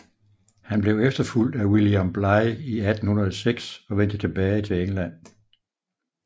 Han blev efterfulgt af William Bligh i 1806 og vendte tilbage til England